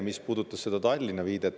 Teiseks see Tallinna viide.